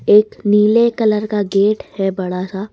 एक नीले कलर का गेट है बड़ा सा।